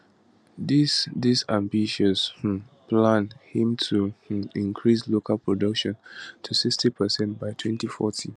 dis dis ambitious um plan aim to um increase local production to 60 percent by 2040